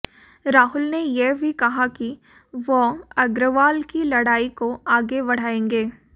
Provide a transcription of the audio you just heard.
राहुल ने यह भी कहा कि वह अग्रवाल की लड़ाई को आगे बढ़ाएंगे